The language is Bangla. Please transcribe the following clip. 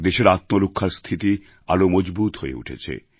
দেশের আত্মরক্ষার স্থিতি আরও মজবুত হয়ে উঠেছে